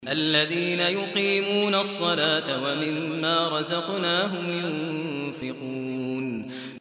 الَّذِينَ يُقِيمُونَ الصَّلَاةَ وَمِمَّا رَزَقْنَاهُمْ يُنفِقُونَ